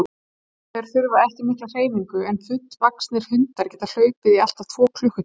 Þeir þurfa ekki mikla hreyfingu en fullvaxnir hundar geta hlaupið í allt að tvo klukkutíma.